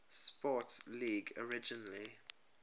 sports league originally